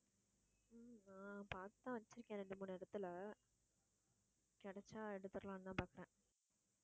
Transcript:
ஹம் பாத்துதான் வச்சிருக்கேன் ரெண்டு, மூணு இடத்துல கிடைச்சா எடுத்தறலாம்னு தான் பாத்தேன்